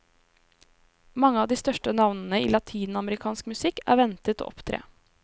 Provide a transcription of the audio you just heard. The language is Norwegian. Mange av de største navnene i latinamerikansk musikk er ventet å opptre.